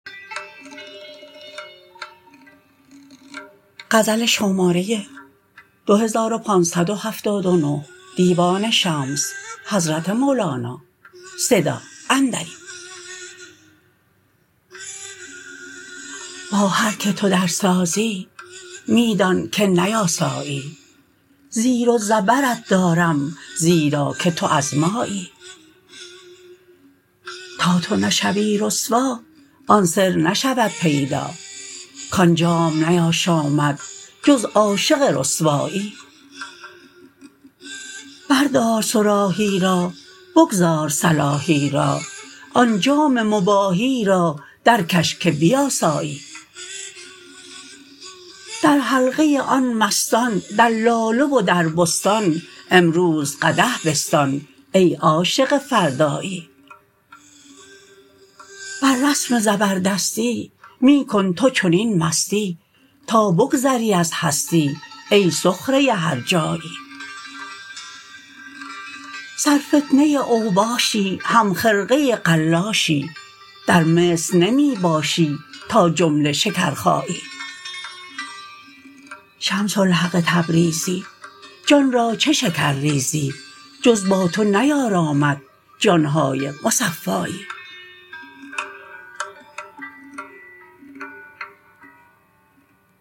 با هر کی تو درسازی می دانک نیاسایی زیر و زبرت دارم زیرا که تو از مایی تا تو نشوی رسوا آن سر نشود پیدا کان جام نیاشامد جز عاشق رسوایی بردار صراحی را بگذار صلاحی را آن جام مباحی را درکش که بیاسایی در حلقه آن مستان در لاله و در بستان امروز قدح بستان ای عاشق فردایی بر رسم زبردستی می کن تو چنین مستی تا بگذری از هستی ای سخره هرجایی سرفتنه اوباشی همخرقه قلاشی در مصر نمی باشی تا جمله شکرخایی شمس الحق تبریزی جان را چه شکر ریزی جز با تو نیارامد جان های مصفایی